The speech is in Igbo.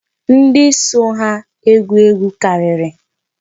Ndị so ha egwu egwu karịrị.